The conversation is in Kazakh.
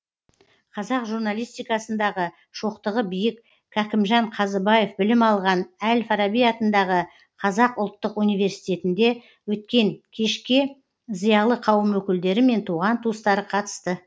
қазақ журналистикасындағы шоқтығы биік кәкімжан қазыбаев білім алған әл фараби атындағы қазақ ұлттық университетінде өткен кешке зиялы қауым өкілдері мен туған туыстары қатысты